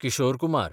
Kishore Kumar